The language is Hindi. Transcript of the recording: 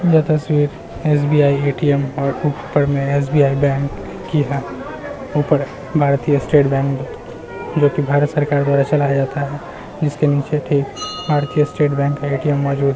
यह तस्वीर एस.बी.आई. ए.टी.एम. और ऊपर में एस.बी.आई. बैंक की है। ऊपर भारतीय स्टेट बैंक जो कि भारत सरकार द्वारा चलाया जाता है। इसके नीचे ठीक भारतीय स्टेट बैंक का ए.टी.एम. मौजूद --